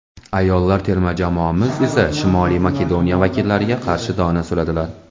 ayollar terma jamoamiz esa Shimoliy Makedoniya vakillariga qarshi dona suradilar.